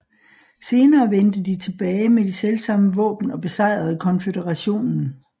Senere vendte de tilbage med de selvsamme våben og besejrede konføderationen